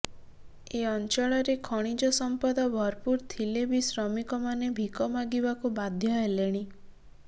ଏ ଅଞ୍ଚଳରେ ଖଣିଜ ସମ୍ପଦ ଭରପୁର ଥିଲେ ବି ଶ୍ରମିକ ମାନେ ଭିକ ମାଗିବାକୁ ବାଧ୍ୟ ହେଲେଣି